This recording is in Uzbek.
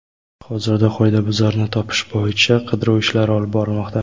Hozirda qoidabuzarni topish bo‘yicha qidiruv ishlari olib borilmoqda.